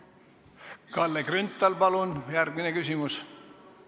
Kalle Grünthal, palun järgmine küsimus!